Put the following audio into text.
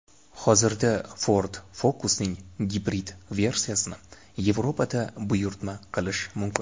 Hozirda Ford Focus’ning gibrid versiyasini Yevropada buyurtma qilish mumkin.